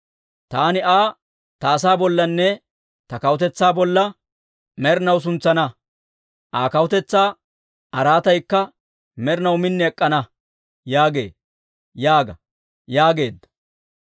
Taani Aa ta asaa bollanne ta kawutetsaa bolla med'inaw suntsana; Aa kawutetsaa araataykka med'inaw min ek'k'ana» yaagee› yaaga» yaageedda.